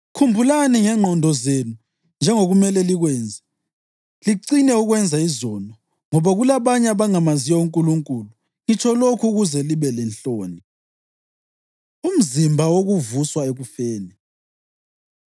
Khumbulani ngengqondo zenu njengokumele likwenze, licine ukwenza izono; ngoba kulabanye abangamaziyo uNkulunkulu, ngitsho lokhu ukuze libelenhloni. Umzimba Wokuvuswa Ekufeni